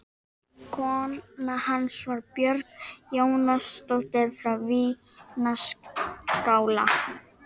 Kona hans var Björg Jónasdóttir frá Svínaskála.